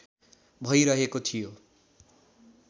भैरहेको थियो